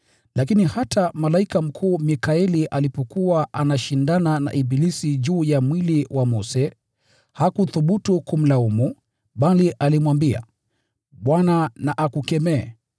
Lakini hata malaika mkuu Mikaeli alipokuwa anashindana na ibilisi juu ya mwili wa Mose, hakuthubutu kumlaumu, bali alimwambia, “Bwana na akukemee!”